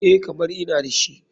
EH, kamar ina dashi.